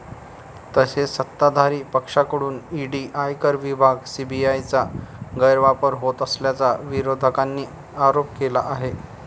तसेच सत्ताधारी पक्षाकडून ईडी, आयकर विभाग, सीबीआयचा गैरवापर होत असल्याचा विरोधकांनी आरोप केला आहे.